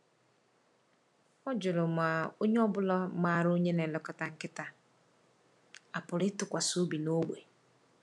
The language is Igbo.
Ọ jụrụ ma onye ọ bụla maara onye na-elekọta nkịta a pụrụ ịtụkwasị obi n’ógbè.